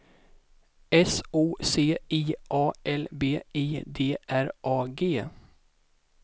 S O C I A L B I D R A G